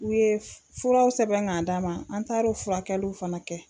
U ye furaw sɛbɛn k'a d'an ma an taara o furakɛliw fana kɛ.